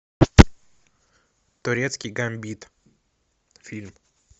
турецкий гамбит фильм